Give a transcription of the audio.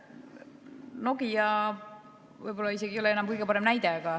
Nokia võib-olla ei ole isegi enam kõige parem näide.